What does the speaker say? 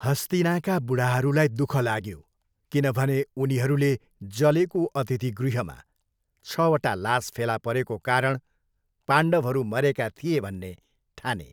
हस्तिनाका बुढाहरूलाई दुःख लाग्यो, किनभने उनीहरूले जलेको अतिथिगृहमा छवटा लाश फेला परेको कारण पाण्डवहरू मरेका थिए भन्ने ठाने।